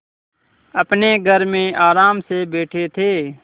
अपने घर में आराम से बैठे थे